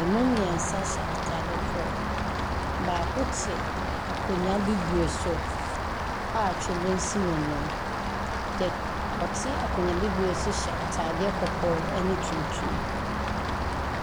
Ɛmu mmeɛnsa hyɛ atade korɔ. Baako te akonnwa bibire so a twene si n'anim. Deɛ ɔte akonnwa bibire so hyɛ atade kɔkɔɔ ne tuntum.